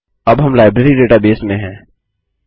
अब हम library database में है